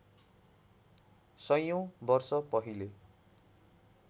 सयौँ वर्ष पहिले